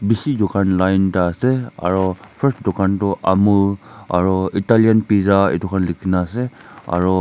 bishi dukan line ekta ase aru first dukan toh amul aru Italian pizza etukhan likhikena ase aru.